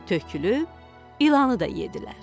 Tökülüb ilanı da yeddilər.